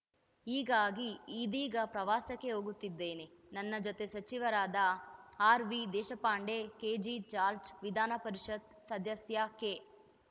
ಹೀಗಾಗಿ ಇದೀಗ ಪ್ರವಾಸಕ್ಕೆ ಹೋಗುತ್ತಿದ್ದೇನೆ ನನ್ನ ಜೊತೆ ಸಚಿವರಾದ ಆರ್‌ವಿ ದೇಶಪಾಂಡೆ ಕೆಜಿ ಜಾರ್ಜ್ ವಿಧಾನ ಪರಿಷತ್‌ ಸದಸ್ಯ ಕೆ